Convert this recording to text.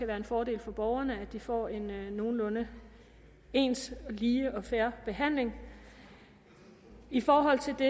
være en fordel for borgerne så de får en nogenlunde ens lige og fair behandling i forhold til det